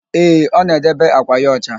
Ee, ọ na-edebe àkwà ya ọcha.